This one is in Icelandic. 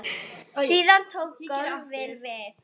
Síðan tók golfið við.